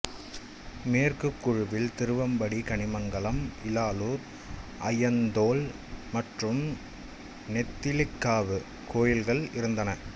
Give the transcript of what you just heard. மேற்குக் குழுவில் திருவம்படி கனிமங்கலம் இலாலூர் அய்யந்தோல் மற்றும் நெத்திலக்காவு கோயில்கள் இருந்தன